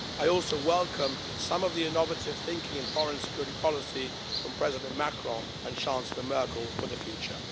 I also welcome some of the innovative thinking in foreign and security policy from President Macron and Chancellor Merkel for the future.